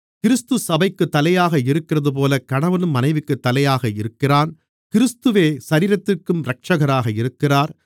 கிறிஸ்து சபைக்குத் தலையாக இருக்கிறதுபோல கணவனும் மனைவிக்குத் தலையாக இருக்கிறான் கிறிஸ்துவே சரீரத்திற்கும் இரட்சகராக இருக்கிறார்